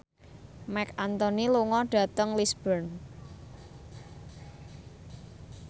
Marc Anthony lunga dhateng Lisburn